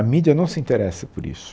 A mídia não se interessa por isso.